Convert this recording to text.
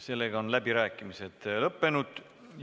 Sellega on läbirääkimised lõppenud.